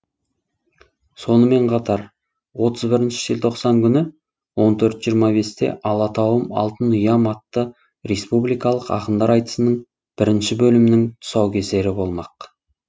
сонымен қатар отыз бірінші желтоқсан күні он төрт жиырма бесте алатауым алтын ұям атты республикалық ақындар айтысының бір бөлімінің тұсаукесері болмақ